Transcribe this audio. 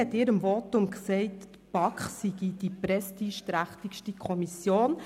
In ihrem Votum hat sie gesagt, die BaK sei die prestigeträchtigste Kommission.